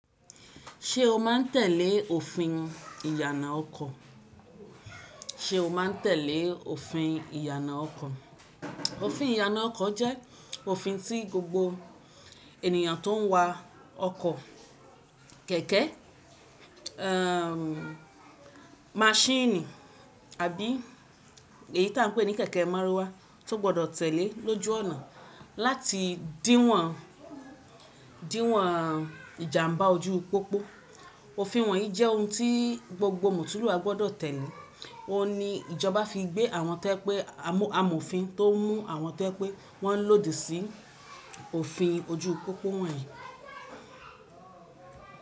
Ṣé o má ń tẹ́lẹ̀ òfin ìyànà ọkọ̀? Òfin ìyànà ọkọ̀ jẹ́ òfin tí gbogbo ènìyàn tó ń wa ọkọ̀ kẹ̀kẹ́, ẹ maṣíìnì àbí èyí tí à ń pè ní kẹ̀kẹ́ márúwá tó gbọdọ̀ tẹ̀léẹ lóju ọ̀nà láti dìwọ̀n ìjàmbá ojú pópó. Òfin wọ̀nyí jẹ́ ohun tí gbogbo mọ́tunlúwà gbọdọ̀ tẹ̀lé. Ó n ní ìjọba fi gbé àwọn to yẹ́ pé amọ̀fin tó mú àwọn to ye pẹ́ wọ́n lòdì sí òfin ojú u pópó wọ̀nyí.